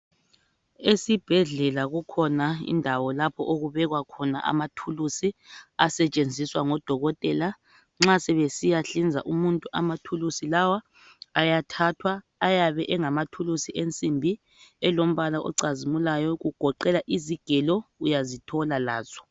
Esibhedlela kukhona indawo lapho okubekwa khona amathulusi, asetshenziswa ngodokotela, nxa sebesiya hlinza umuntu amathulusi lawa ayathathwa, ayabe engamathulusi ensimbi elombala ocazimulayo kugoqela izigelo uyazithola lazo.